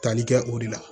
Tali kɛ o de la